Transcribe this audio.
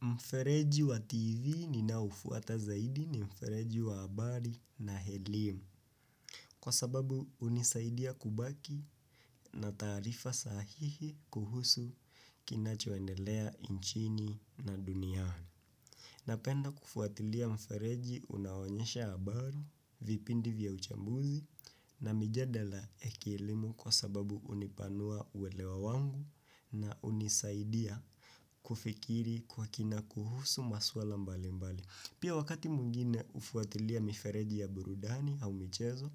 Mfereji wa TV ninaoufuata zaidi ni mfereji wa habari na elimu kwa sababu hunisaidia kubaki na taarifa sahihi kuhusu kinachoendelea nchini na duniani. Napenda kufuatilia mfereji unaoonyesha habari, vipindi vya uchambuzi na mijadala ya kielimu kwa sababu hunipanua uelewa wangu na hunisaidia kufikiri kwa kina kuhusu masuala mbali mbali. Pia wakati mwingine hufuatilia mifereji ya burudani au michezo,